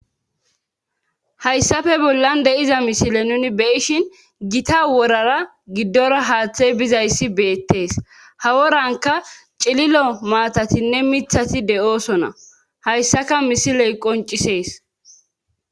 Hayssafe bollan de'iza misile nuni be'ishin gita worara giddora haaththey bizayssi beettees haworanka cililo maatatinne mithati de7oosona hayssaka misiley qoncisees.